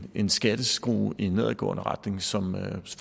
en skatteskrue i nedadgående retning som